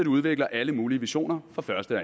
udvikler alle mulige visioner for første og